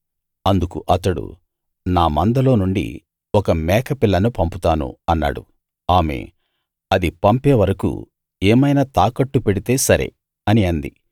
అందుకు అతడు నా మందలో నుండి ఒక మేక పిల్లను పంపుతాను అన్నాడు ఆమె అది పంపే వరకూ ఏమైనా తాకట్టు పెడితే సరే అని అంది